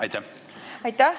Aitäh!